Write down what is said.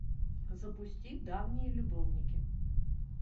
запусти давние любовники